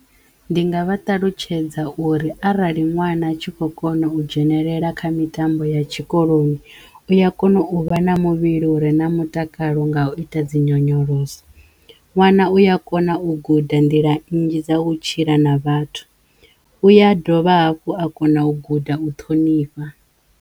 Ndi nga vha ṱalutshedza uri arali ṅwana a tshi kho kono u dzhenelela kha mitambo ya tshikoloni u ya kono u vha na muvhili u re na mutakalo nga u ita dzi nyonyoloso, ṅwana uya kona u guda nḓila nnzhi dza u tshila na Vhathu, u ya dovha hafhu a kona u guda u ṱhonifha.